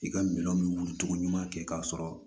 I ka minɛnw bɛ wuli cogoɲuman kɛ k'a sɔrɔ